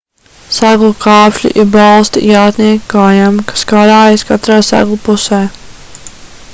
seglu kāpšļi ir balsti jātnieka kājām kas karājas katrā seglu pusē